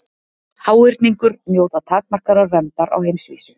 Háhyrningur njóta takmarkaðrar verndar á heimsvísu.